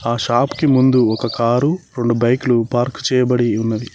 ఆ షాప్ కి ముందు ఒక కారు రొండు బైకులు పార్క్ చేయబడి ఉన్నది.